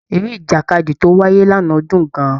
Eré ìjàkadì tó wáyé lánàá dùn gan-an.